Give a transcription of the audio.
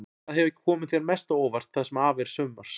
Hvað hefur komið þér mest á óvart það sem af er sumars?